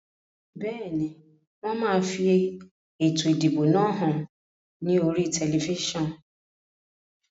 Bẹ́ẹ̀ni, wón máa fi ètò ìdìbò náà hàn ní oríi tẹlifísàn